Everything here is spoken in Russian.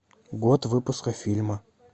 год выпуска фильма